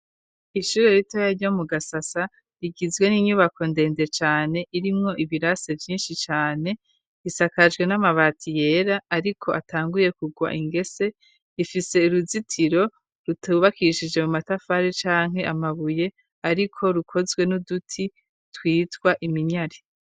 Ishure ritoya ryo mu gasasa rigizwe n'inyubako ndende cane irimwo ibirase vyinshi cane ,isakajwe n'amabati yera ariko atanguye kugwa ingese ,ifise uruzitiro rutubakishije mu matafari canke amabuye ariko rukozwe n'uduti twitwa iminyari.